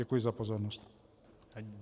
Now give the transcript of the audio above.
Děkuji za pozornost.